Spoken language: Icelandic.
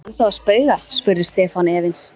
Ertu ennþá að spauga? spurði Stefán efins.